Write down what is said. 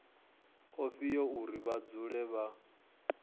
ifhio uri vha dzule vha